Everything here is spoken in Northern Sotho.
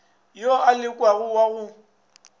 yo a lekanago wa go